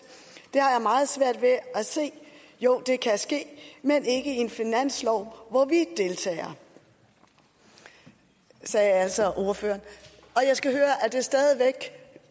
det har jeg meget svært ved at se jo det kan godt ske men ikke i en finanslov hvor vi deltager det sagde altså ordføreren og jeg skal høre er det stadig væk